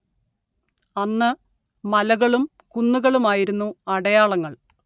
അന്ന്‌ മലകളും കുന്നുകളുമായിരുന്നു അടയാളങ്ങൾ